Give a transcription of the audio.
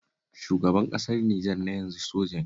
Shugaban ƙasar Nijer na yanzu soja ne